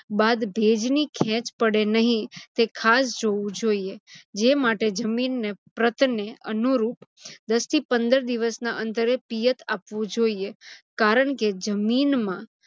બાદ ભેજની ખેંચ પડે નહીં તે ખાસ જોવું જોઇએ. જે માટે જમીનને પ્રતને અનુરુપ દસ થી પંદર દિવસના અંતરે પિયત આપવું જોઇએ. કારણ કે જમીનમાં